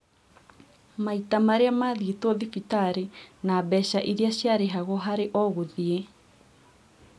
Maita marĩa mathiĩtwo thibitarĩ na mbeca iria ciarĩhagwo harĩ o gũthiĩ